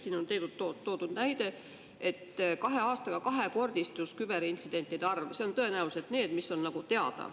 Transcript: Siin on toodud näide, et kahe aastaga kahekordistus küberintsidentide arv, selle alla käivad tõenäoliselt need, mis on teada.